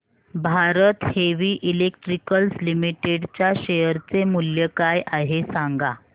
Bharat heavy electricals limited च्या share चे मूल्य काय आहे सांगा